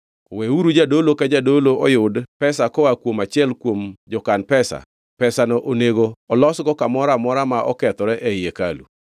Weuru jadolo ka jadolo oyud pesa koa kuom achiel kuom jokan pesa; pesano onego olosgo kamoro amora ma okethore ei hekalu.”